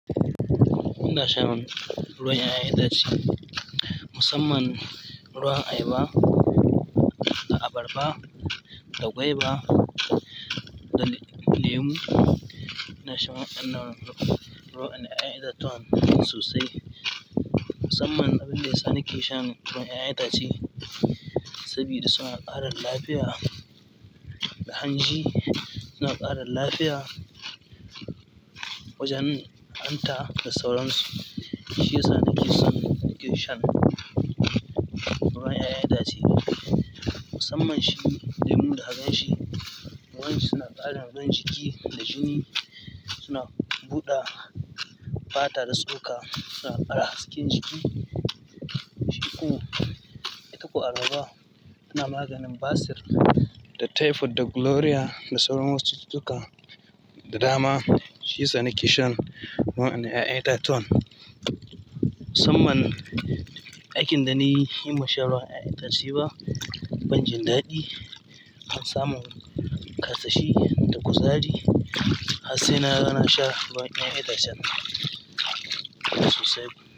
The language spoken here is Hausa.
Ina shan ruwan 'ya'yan itace musamman ruwan ayba, da abarba, da gwaiba, da lemu. Ina shan waɗannan ruwan ƴaƴan itatuwan sosai. Musamman abin da ya sa na ke shan ruwan ƴaƴan itace, sabida suna ƙara lafiyan hanji. Suna ƙara lafiya wajen hanta da sauransu. Shi ya sa nake son ni kishon ruwa ya yi ita ce. Musamman shi lemu ka gan shi ruwan suna ƙara inganta jiki da jini. Suna buɗe fata da tsok. Suna ƙara hasken jiki. Jiki kuwa, itako abarba taɓa maganin basir, da typhoid, da gonorrhea, da sauran masu cututtuka, da dama. Shi ya sa nake shan waƴannan ƴaƴan itatuwan musamman aikin da na yi, himma sha ruwa ya yi ta ci ba. Ban jin daɗi. Ban samu ƙarsashi da kuzari. Har sai na ga na sha ruwan ƴaƴan itacen nan.